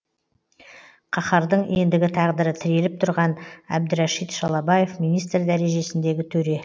қаһардың ендігі тағдыры тіреліп тұрған әбдірәшит шалабаев министр дәрежесіндегі төре